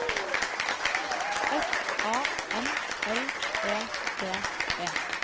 S A M L E D E